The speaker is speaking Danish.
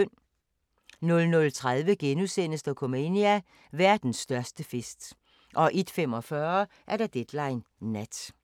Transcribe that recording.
00:30: Dokumania: Verdens største fest * 01:45: Deadline Nat